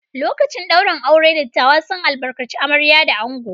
Lokacin ɗaurin aure, dattawa sun albarkaci amarya da ango.